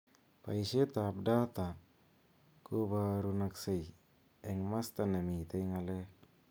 Boishet ab data kobarunaksei eng masta nemitei ng'alek.